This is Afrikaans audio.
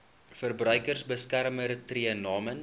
verbruikersbeskermer tree namens